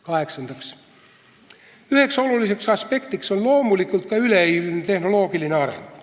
Kaheksandaks, üks olulisi aspekte on loomulikult ka üleilmne tehnoloogiline areng.